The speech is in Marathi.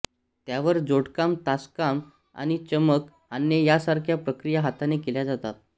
त्यावर जोडकाम तासकाम आणि चमक आणणे यासारख्या प्रक्रिया हाताने केल्या जातात